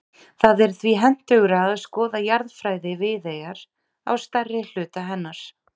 Það er því hentugra að skoða jarðfræði Viðeyjar á stærri hluta hennar.